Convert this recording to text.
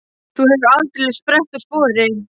Þú hefur aldeilis sprett úr spori.